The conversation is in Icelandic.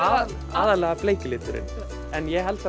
aðallega bleiki liturinn en ég held